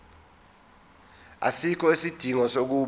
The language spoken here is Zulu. asikho isidingo sokuba